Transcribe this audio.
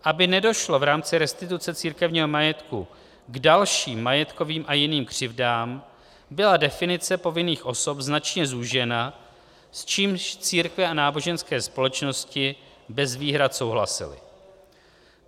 Aby nedošlo v rámci restituce církevního majetku k dalším majetkovým a jiným křivdám, byla definice povinných osob značně zúžena, s čímž církve a náboženské společnosti bez výhrad souhlasily.